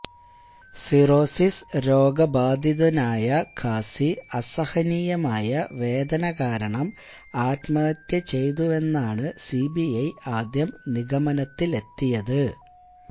cirrhosis രോഗബാധിതനായ ഖാസി അസഹനീയമായ വേദന കാരണം ആത്മഹത്യ ചെയ്തുവെന്നാണ് സിബിഐ ആദ്യം നിഗമനത്തിലെത്തിയത്